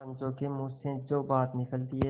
पंचों के मुँह से जो बात निकलती है